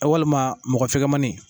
Walima mɔgɔ fɛkɛmanin.